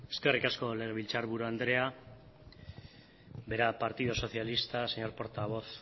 eskerrik asko legebiltzarburu anderea verá partido socialista y verá portavoz